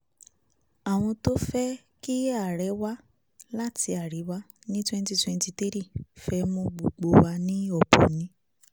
àwọn tó fẹ́ kí ààrẹ wa láti àríwá ní twenty twenty three fẹ́ mú gbogbo wa ní ọ̀bọ ni